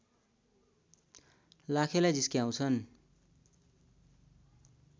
लाखेलाई जिस्क्याउँछन्